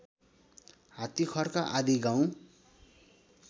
हात्तिखर्क आदि गाउँ